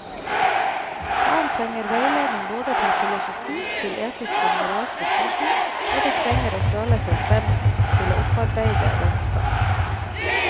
Barn trenger veiledning både til filosofi, til etiske og moralske spørsmål, og de trenger å føle seg frem til å opparbeide vennskap.